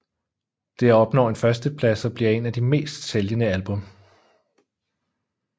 Det opnår en førsteplads og bliver en af de mest sælgende album